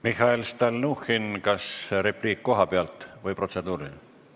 Mihhail Stalnuhhin, kas repliik koha pealt või protseduuriline?